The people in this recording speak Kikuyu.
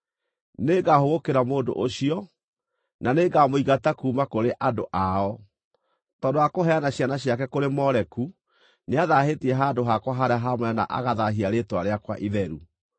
Nĩngahũgũkĩra mũndũ ũcio, na nĩngamũingata kuuma kũrĩ andũ ao; tondũ wa kũheana ciana ciake kũrĩ Moleku, nĩathaahĩtie handũ hakwa harĩa haamũre na agathaahia rĩĩtwa rĩakwa itheru.